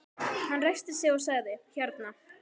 Hann ræskti sig og sagði: Hérna